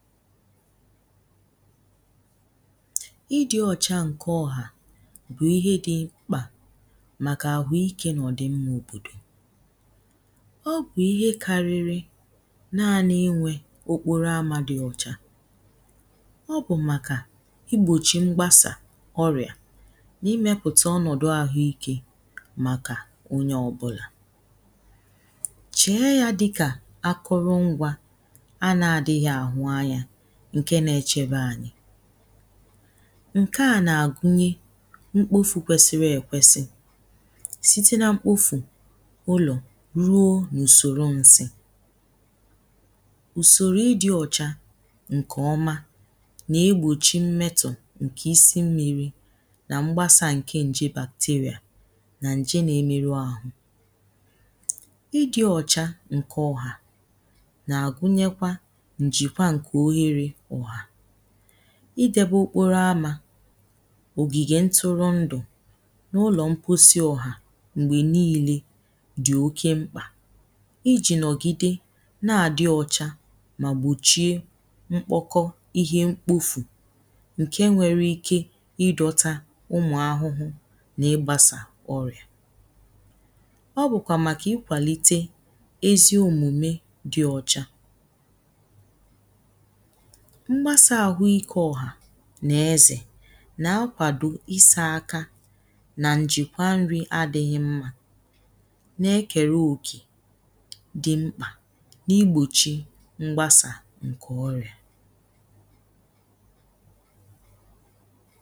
idi̇ ọ̀cha ǹke ọhà bụ̀ ihe dị mkpà màkà àhụ ike nà ọ̀ dị mma òbòdò ọ bụ̀ ihe kariri naani inwė okporo amȧ dị ọ̀cha ọ bụ̀ màkà igbòchì mgbasà ọrìà nà imepùtà ọnọ̀dụ àhụ ikė màkà onye ọbụlà chie yȧ dịkà akụrụ ngwȧ ǹke nà-àgunye mkpofù kwesiri èkwesi site nà mkpofù ụlọ̀ ruo n’ùsòrò ǹsị̀ ùsòrò ịdị̇ ọ̇chȧ ǹkè ọma nà-egbòchi mmetọ̀ ǹkè isi mmi̇ri̇ nà mgbasa ǹke nje bàkteria nà ǹje nà-emeru ȧhụ̇ ịdị̇ ọ̇chȧ ǹkè ọhà nà-àgunyekwa idebe okporo amȧ ògìgè ntụrụndụ̀ n’ụlọ̀ mkposi ọ̀hà m̀gbè niile dì oke mkpà ijì nọ̀gide na-àdị ọcha mà gbòchie mkpọkọ ihe mkpofù ǹke nwere ike idọtȧ ụmụ̀ ahụhụ nà igbasa ọrìà ọ bụ̀kwà màkà ikwàlite eziòmùme dị ọ̀cha mgbasà àhụ ike ọ̀hà nà ezè nà-akwàdò isa aka nà ǹjìkwa nri̇ adị̇ghị̇ mma nà-ekèrè òkè dị mkpà n’igbòchì mgbasà ǹkè ọrị̀à